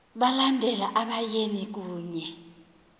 balandela abayeni kunye